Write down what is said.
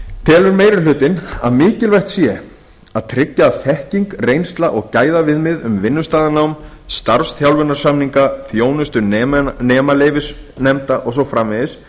telur meiri hlutinn að mikilvægt sé að tryggja að þekking reynsla og gæðaviðmið um vinnustaðanám starfsþjálfunarsamninga þjónustu nemaleyfisnefnda og svo framvegis